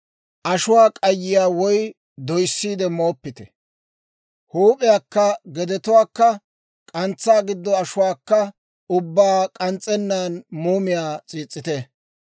Ashuwaa k'ayiyaa woy doyssiide mooppite; huup'iyaakka gedetuwaakka k'antsaa giddo ashuwaakka ubbaa k'ans's'ennan muumiyaa s'iis's'ite;